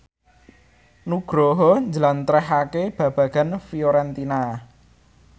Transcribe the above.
Nugroho njlentrehake babagan Fiorentina